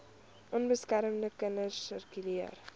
onbeskermde kinders sirkuleer